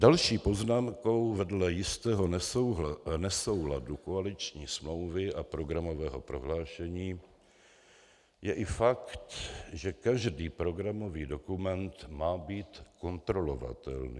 Další poznámkou vedle jistého nesouladu koaliční smlouvy a programového prohlášení je i fakt, že každý programový dokument má být kontrolovatelný.